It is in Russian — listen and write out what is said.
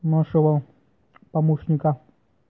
нашла помощника